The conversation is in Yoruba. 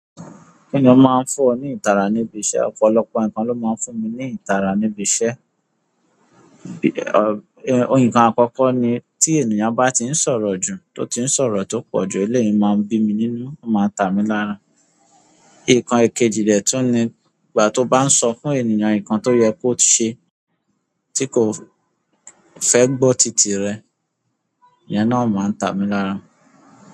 Kíni ó máa ń fún ọ ní ìtara níbi iṣẹ́? Ọ̀pọ̀lọpọ̀ nǹkan ló máa ń fún mi ní ìtara níbi iṣẹ́. Nǹkan àkọ́kọ́ ni tí ènìyàn bá ti ń sọ̀rọ̀ jù, tó ti ń sọ̀rọ̀ tó pọ̀ jù ú, eleyi máa ń bí mi nínú, ó máa ń tà mí lára. Nkan èkejì de tún ni, ìgbà tí ó bá ń sọ fún ènìyàn nǹkan tó yẹ kó ṣe tí kò fẹ́ gbọ́ tìtì rẹ̀, iyen náà máa ń tà mí lára.